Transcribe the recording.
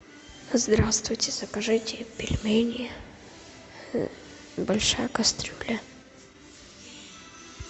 здравствуйте закажите пельмени большая кастрюля